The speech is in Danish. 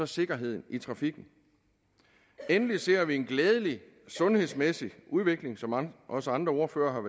sikkerheden i trafikken endelig ser vi en glædelig sundhedsmæssig udvikling som også andre ordførere har